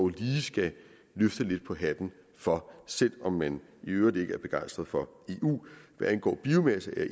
lige skal løfte lidt på hatten for selv om man i øvrigt ikke er begejstret for eu hvad angår biomasse er